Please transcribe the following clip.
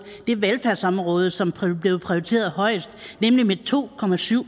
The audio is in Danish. det velfærdsområde som blev prioriteret højest nemlig med to